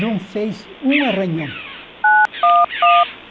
Não fez um arranhão.